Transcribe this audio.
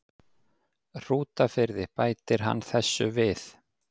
Hrútafirði, bætir hann þessu við